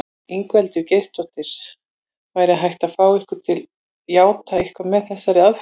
Ingveldur Geirsdóttir: Væri hægt að fá ykkur til játa eitthvað með þessari aðferð?